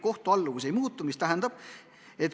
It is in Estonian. Kohtualluvus ei muutu.